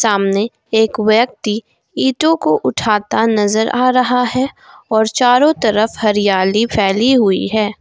सामने एक व्यक्ति ईंटों को उठाता नजर आ रहा है और चारों तरफ हरियाली फैली हुई है।